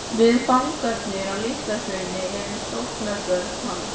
Við fangarnir á Litla-Hrauni erum sóknarbörn hans.